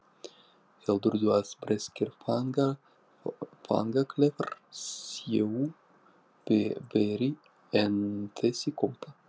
Heldurðu að breskir fangaklefar séu verri en þessi kompa?